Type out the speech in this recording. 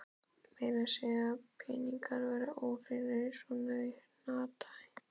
Meira að segja peningar verða óhreinir í svona hanaati.